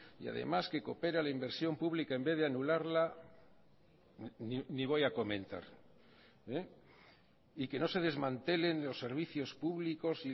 y además que coopera la inversión pública en vez de anularla ni voy a comentar y que no se desmantelen los servicios públicos